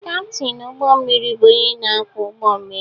Kaptin ụgbọ mmiri bụ onye na-akwọ ụgbọ mmiri.